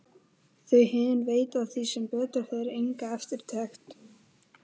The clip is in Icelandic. Þau hin veita því sem betur fer enga eftirtekt.